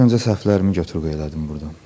İlk öncə səhvlərimi götür-qoy elədim burda.